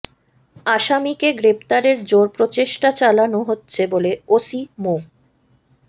আসামিকে গ্রেপ্তারের জোর প্রচেষ্টা চালানো হচ্ছে বলে ওসি মো